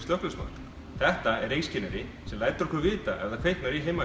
reykskynjari sem lætur okkur vita ef það kviknar í heima